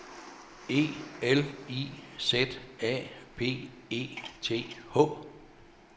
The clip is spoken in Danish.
E L I Z A B E T H